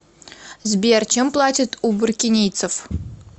сбер чем платят у буркинийцев